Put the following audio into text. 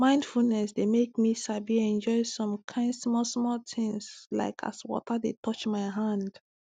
mindfulness dey make me sabi enjoy some kain small small things like as water dey touch my hand